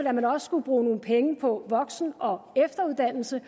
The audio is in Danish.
at man også skulle bruge nogle penge på voksen og efteruddannelse